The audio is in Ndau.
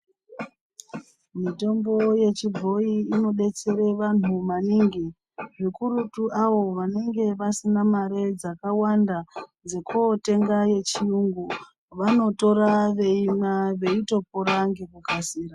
Mitombo yechi bhoyi ino betsera vantu maningi zvikurutu avo vanenge vasina mari dzakawanda dzeko tenga yechi yungu vano tora veimwa veito pora ngeku kasira.